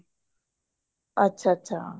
ਅੱਛਾ ਅੱਛਾ